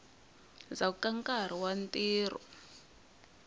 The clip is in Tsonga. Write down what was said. ndzhaku ka nkarhi wa ntirho